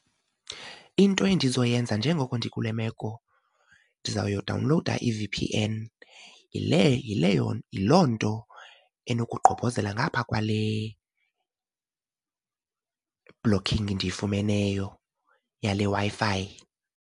Into endizoyenza njengoko ndikule meko ndizayodawunlowuda i-V_P_N, yile yileyo, yiloo nto enokugqobhozela ngapha kwale blocking ndiyifumeneyo yale Wi-Fi.